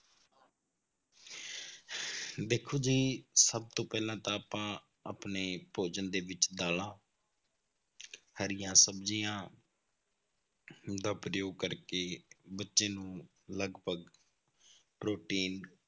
ਵੇਖੋ ਜੀ ਸਭ ਤੋਂ ਪਹਿਲਾਂ ਤਾਂ ਆਪਾਂ ਆਪਣੇ ਭੋਜਨ ਦੇ ਵਿੱਚ ਦਾਲਾਂ ਹਰੀਆਂ ਸਬਜ਼ੀਆਂ ਦਾ ਪ੍ਰਯੋਗ ਕਰਕੇ ਬੱਚੇ ਨੂੰ ਲਗਪਗ ਪ੍ਰੋਟੀਨ,